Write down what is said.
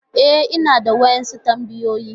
E, ina da wasu tambayoyi.